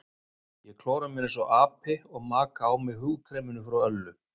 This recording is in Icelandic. Ég klóra mér einsog api og maka á mig húðkreminu frá Öllu.